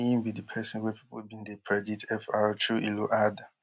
no be im be di pesin wey pipo bin dey predict fr chu ilo add